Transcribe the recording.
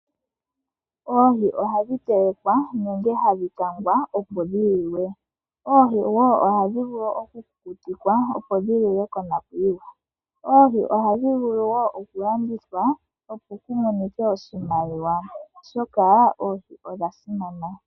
Oohi ohadhi telekwa nenge hadhi kangwa, opo dhi liwe. Oohi wo ohadhi vulu oku kukutikwa opo dhi liwe konakuyiwa. Oohi ohadhi vulu wo oku landithwa, opo ku monike oshimaliwa, oshoka oohi odha simana.